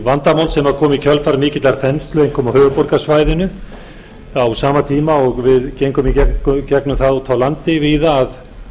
vandamál sem kom í kjölfar mikillar þenslu einkum á höfuðborgarsvæðinu á sama tíma og við gengum í gegnum það úti á landi víða að